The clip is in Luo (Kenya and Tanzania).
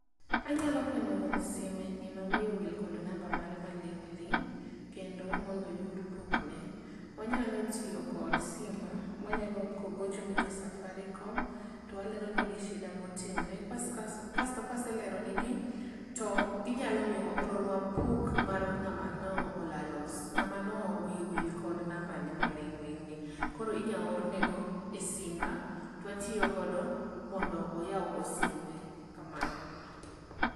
Anyalo konyo wuon sime ni ma wile owil kod namba mare maling' ling kendo mondo oyud pokne. Onyalo tiyo kod simba wanyalo gocho ne jo Safarikom to waleronegi sida motimre kas kaso kasto kwaseleronegi ginyalo miyowa oronwa puk mar ng'ama no lalo ng'ama ne wiye owil kod nambane maling'ling. Koro inya or ne go e simba twatiyo godo mondo oyaw go simbe kamano.